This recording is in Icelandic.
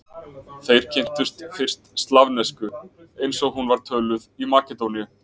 Þeir kynntust fyrst slavnesku eins og hún var töluð í Makedóníu.